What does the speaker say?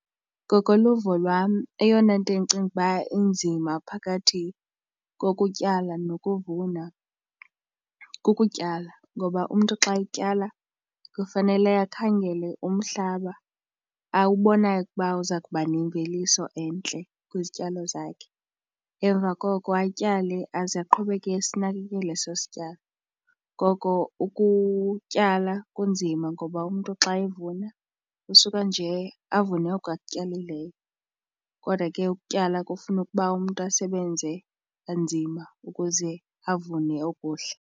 Ngokoluvo lwam eyona nto endicinga uba inzima phakathi kokutyala nokuvuna kukutyala ngoba umntu xa etyala kufanele akhangele umhlaba awubonayo ukuba uza kubana nemveliso entle kwizityalo zakhe. Emva koko atyale aze aqhubeke esinakekela eso sityalo. Ngoko ukutyala kunzima ngoba umntu xa evuna usuka nje avune oko akutyalileyo kodwa ke ukutyala kufuna ukuba umntu asebenze kanzima ukuze avune okuhle.